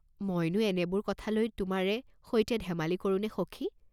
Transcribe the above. .."মইনো এনেবোৰ কথালৈ তোমাৰে সৈতে ধেমালি কৰোনে সখি?